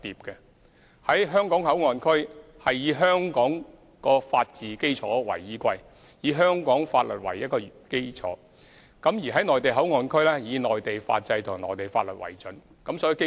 在"香港口岸區"會以香港法治基礎為依歸，以香港法律為基礎，在"內地口岸區"則主要以內地法制和內地法律為準。